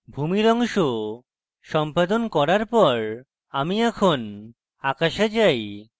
ভূমির অংশ সম্পাদন করার পর আমি এখন আকাশে যাই